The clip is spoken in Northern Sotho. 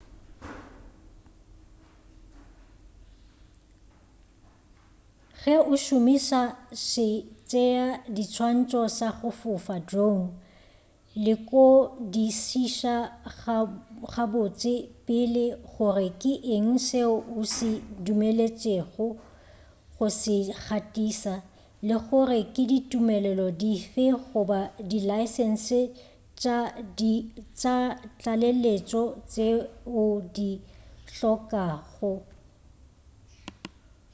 ge o šomiša setšeadiswantšho sa go fofa drone lekodišiša gabotse pele gore ke eng seo o dumeletšwego go se gatiša le gore ke ditumelelo dife goba dilaesense tša tlaleletšo tšeo di hlokagalago